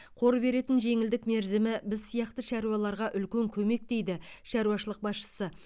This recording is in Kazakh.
қор беретін жеңілдік мерзімі біз сияқты шаруаларға үлкен көмек дейді шаруашылық басшысы